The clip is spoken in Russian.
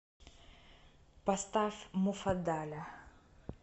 поставь муфаддаля